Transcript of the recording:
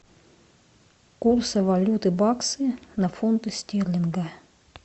курсы валюты баксы на фунты стерлинга